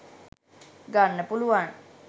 ගන්න පුළුවන්